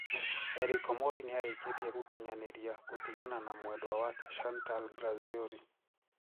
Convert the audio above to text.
Eric Omondi niareketie gukinyaniria gutigana na mwendwa wake Chantal Grazioli.